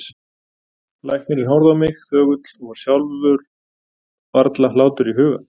Læknirinn horfði á mig þögull og var sjálfum varla hlátur í huga.